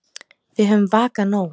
Við höfum vakað nóg.